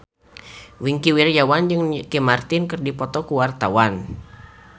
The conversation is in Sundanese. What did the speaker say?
Wingky Wiryawan jeung Ricky Martin keur dipoto ku wartawan